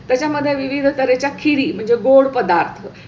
त्याच्या मध्ये विविधता खिवि म्हणजे गोड पदार्थ